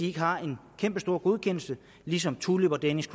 ikke har en kæmpestor godkendelse ligesom tulip og danish